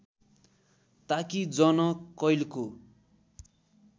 ताकि जन कैलको